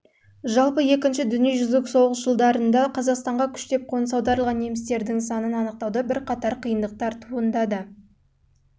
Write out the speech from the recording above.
жалпы екінші дүниежүзілік соғыс жылдарында қазақстанға күштеп қоныс аударылған немістердің санын анықтауда бірқатар қиындықтар туындайды